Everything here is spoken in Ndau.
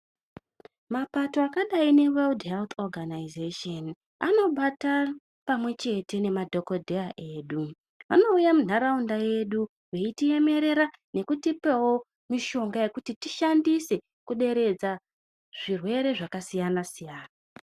Mapato akadai neweudhi heuthi oganaizesheni anobata pamwechete nemadhikodheya edu vanouya munharaunda yedu veitemerera nekutipewo mishonga yekuti tishandise kuderedza zvirwere zvakasiyana-siyana.